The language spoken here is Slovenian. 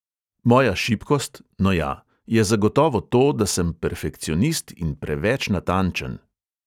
Moja šibkost, no ja, je zagotovo to, da sem perfekcionist in preveč natančen.